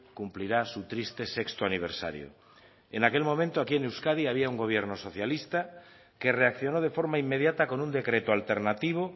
cumplirá su triste sexto aniversario en aquel momento aquí en euskadi había un gobierno socialista que reaccionó de forma inmediata con un decreto alternativo